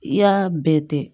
I y'a bɛɛ kɛ